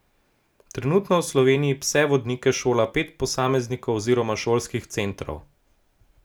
Trenutno v Sloveniji pse vodnike šola pet posameznikov oziroma šolskih centrov.